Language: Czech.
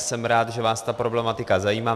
Jsem rád, že vás ta problematika zajímá.